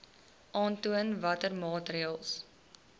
aantoon watter maatreëls